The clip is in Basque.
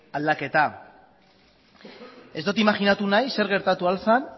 aldaketa ez dut imajinatu nahi zer gertatu al zen